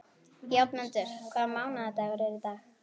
Játmundur, hvaða mánaðardagur er í dag?